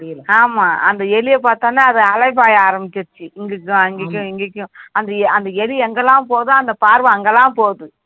ஆமா அந்த எலிய பார்த்த உடனே அது அலைபாய ஆரம்பிச்சிடுச்சு அங்கைக்கும் இங்கைக்கும் அந்த எலி எங்கெல்லாம் போதுதோ பார்வை அங்கலாம் போகுது